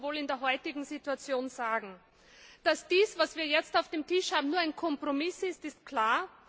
So muss man wohl in der heutigen Situation sagen. Dass dies, was wir jetzt auf dem Tisch haben, nur ein Kompromiss ist, ist klar.